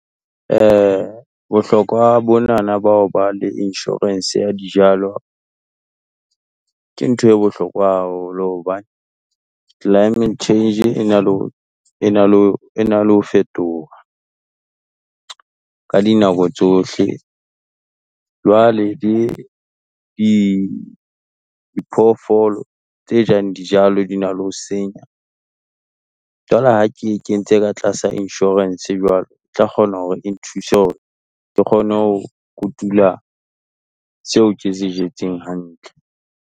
Bohlokwa bo nana bao ba le insurance ya dijalo. Ke ntho e bohlokwa haholo hobane climate change e na le ho, e na le, e na le ho fetoha, ka dinako tsohle. Jwale di diphoofolo tse jang dijalo di na le ho senya, jwale ka ke e kentse ka tlasa insurance jwalo, e tla kgona hore o nthuse hore, ke kgone ho kotula seo ke se jetseng hantle.